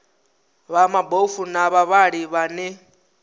vha mabofu na vhavhali vhane